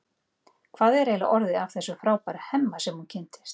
Hvað er eiginlega orðið af þessum frábæra Hemma sem hún kynntist?